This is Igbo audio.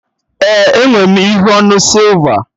Ee, enwe m ihe onu sịlva